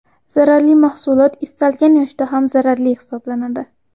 Zararli mahsulot istalgan yoshda ham zararli hisoblanadi.